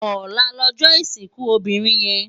Òlá lòjò isinkú óbirin yèn